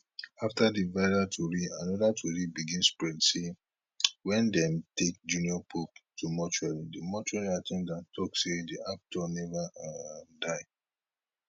afta di viral tori anoda tori begin spread say wen dem take junior pope to mortuary di mortuary at ten dant tok say di actor neva um die